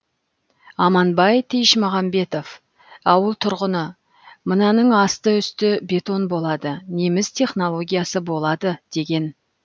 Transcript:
аманбай тиішмағанбетов ауыл тұрғыны мынаның асты үсті бетон болады неміс технологиясы болады деген